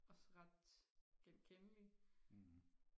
også ret genkendelig